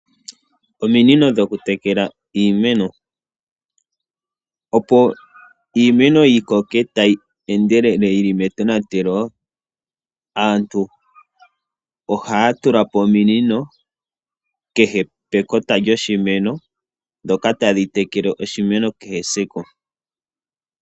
Ominino dho ku tekela iimeno, opo iimeno yi koke tayi endelele yili metonatelo, aantu ohaya tula po ominino kehe pekota lyoshimeno ndhoka tadhi tekele oshimeno kehe esiku.